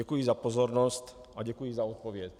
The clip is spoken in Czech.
Děkuji za pozornost a děkuji za odpověď.